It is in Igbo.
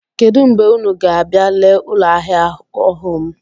Kedụ mgbe unu ga-abịa lee ụlọahịa ọhụụ m?